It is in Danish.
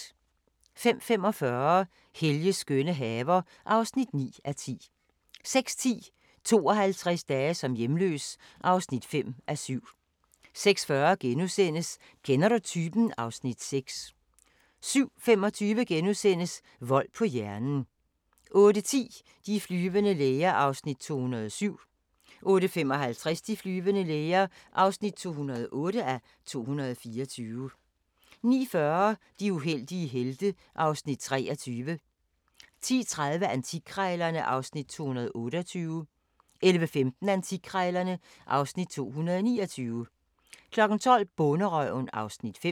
05:45: Helges skønne haver (9:10) 06:10: 52 dage som hjemløs (5:7) 06:40: Kender du typen? (Afs. 6)* 07:25: Vold på hjernen * 08:10: De flyvende læger (207:224) 08:55: De flyvende læger (208:224) 09:40: De uheldige helte (Afs. 23) 10:30: Antikkrejlerne (Afs. 228) 11:15: Antikkrejlerne (Afs. 229) 12:00: Bonderøven (Afs. 5)